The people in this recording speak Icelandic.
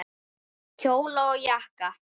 Kjóla og jakka.